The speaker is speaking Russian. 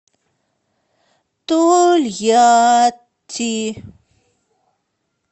тольятти